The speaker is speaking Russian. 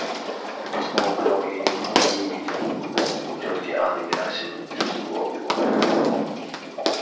крепостного права я не знал и не видел но помню у тётки анны герасимовны чувствовал его